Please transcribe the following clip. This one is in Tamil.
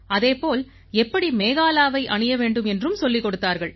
அதே போல எப்படி மேகாலாவை அணிய வேண்டும் என்றும் சொல்லிக் கொடுத்தார்கள்